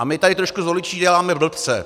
A my tady trošku z voličů děláme blbce.